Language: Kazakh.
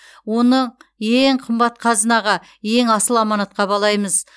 оны ең қымбат қазынаға ең асыл аманатқа балаймыз